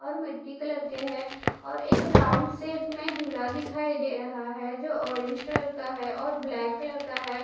और मिट्टी कलर के हैं और एक राउंड शेप में झूला दिखाई दे रहा है जो ऑरेंज कलर का है और ब्लैक कलर का है।